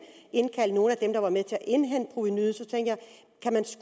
indkaldt nogen af dem der var med til at indhente provenuet